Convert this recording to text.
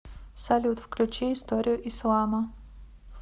салют включи историю ислама